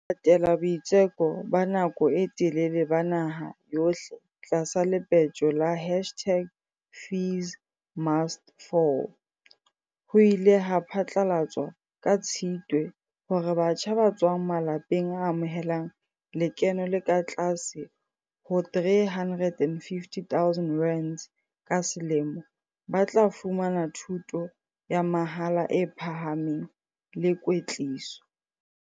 Ho latela boitseko ba nako e telele ba naha yohle tlasa le petjo la hashtag-FeesMustFall, ho ile ha phatlalatswa ka Tshitwe hore batjha ba tswang malapeng a amohelang lekeno le ka tlase ho R350 000 ka se lemo ba tla fumana thuto ya mahala e phahameng le kwetliso.